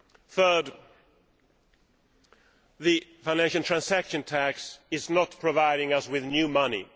Thirdly, the financial transaction tax is not providing us with new money.